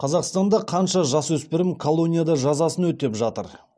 қазақстанда қанша жасөспірім колонияда жазасын өтеп жатыр